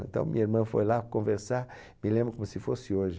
Então minha irmã foi lá conversar, me lembro como se fosse hoje.